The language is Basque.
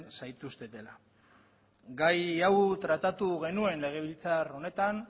zaituztetela gai hau tratatu genuen legebiltzar honetan